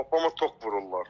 Papama tok vururlar.